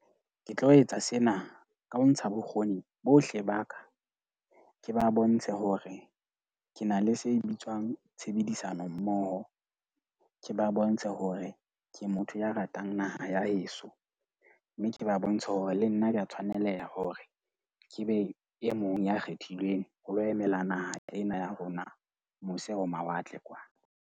Ke tlo etsa sena ka ho ntsha bokgoni bohle ba ka ke ba bontshe hore ke na le se bitswang tshebedisano mmoho. Ke ba bontshe hore ke motho ya ratang naha ya heso, mme ke ba bontshe hore le nna ke a tshwaneleha hore ke be e mong ya kgethilweng ho lo emela naha ena ya rona mose ho mawatle kwana.